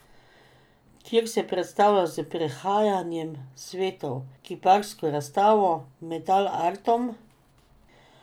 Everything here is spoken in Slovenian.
Kjer se predstavlja s Prehajanjem svetov, kiparsko razstavo, metal artom.